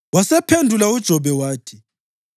Wasephendula uJobe wathi: